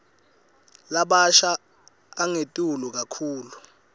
labasha angetulu kakhulu